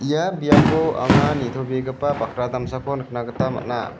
ia biapo anga nitobegipa bakra damsako nikna gita man·a.